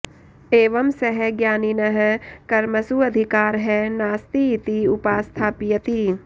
एवं सः ज्ञानिनः कर्मसु अधिकारः नास्ति इति उपस्थापयति